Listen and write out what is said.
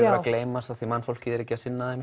að gleymast af því að mannfólkið er ekki að sinna þeim